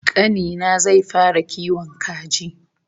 Kani na zai fara kiwon kaji